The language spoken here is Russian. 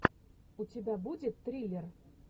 у тебя будет триллер